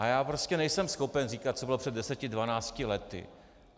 A já prostě nejsem schopen říkat, co bylo před deseti dvanácti lety.